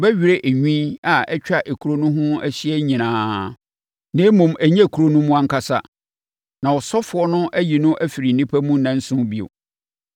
ɔbɛwerɛ enwi a atwa ekuro no ho ahyia nyinaa (na mmom ɛnyɛ ekuro no mu ankasa) na ɔsɔfoɔ no ayi no afiri nnipa mu nnanson bio.